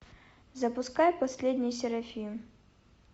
запускай последний серафим